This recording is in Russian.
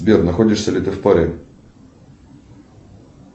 сбер находишься ли ты в паре